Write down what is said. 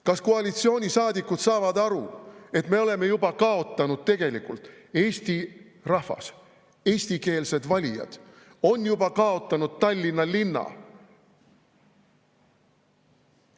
Kas koalitsioonisaadikud saavad aru, et me oleme juba kaotanud, eesti rahvas, eestikeelsed valijad on juba kaotanud Tallinna linna?